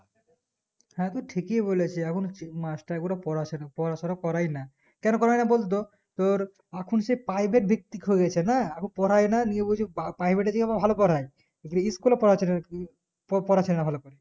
হ্যাঁ তু ঠিকই বলেছিস এখন মাস্টার গুলা পড়েছে না পরাফরা করাই না কেনে করাই না বলতো তোর এখন সব private ভিত্তিক হয়ে গেছে না পড়ায় না নিয়ে বলছে private এ ভালো পড়ায় school এ পড়াচ্ছেনা পড়াচ্ছেনা ভালো করে